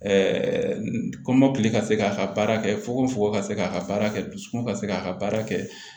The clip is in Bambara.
kɔmɔkili ka se k'a ka baara kɛ fuko fogo ka se k'a ka baara kɛ dusukun ka se k'a ka baara kɛ